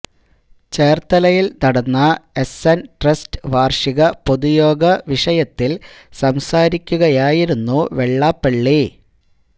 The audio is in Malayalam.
ചേര്ത്തലയില് നടന്ന എസ് എന് ട്രസ്റ്റ് വാര്ഷിക പൊതുയോഗ വിഷയത്തില് സംസാരിക്കുകയായിരുന്നു വെള്ളാപ്പളളി